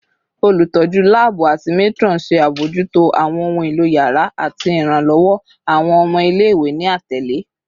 Olutọju laabu ati matron ṣe abojuto awọn ohun elo yàrá ati iranlọwọ awọn ọmọ ile-iwe, ni atele